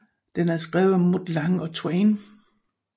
Den er skrevet af Mutt Lange og Twain